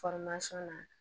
na